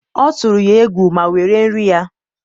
ọ tụrụ ya egwu ma were nri ya.